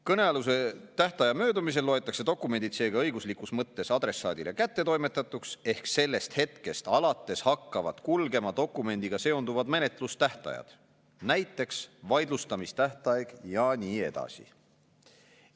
Kõnealuse tähtaja möödumisel loetakse dokumendid seega õiguslikus mõttes adressaadile kättetoimetatuks, ehk sellest hetkest alates hakkavad kulgema dokumendiga seonduvad menetlustähtajad, näiteks vaidlustamistähtaeg ja nii edasi.